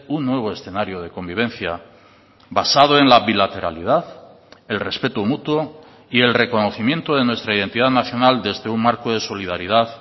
un nuevo escenario de convivencia basado en la bilateralidad el respeto mutuo y el reconocimiento de nuestra identidad nacional desde un marco de solidaridad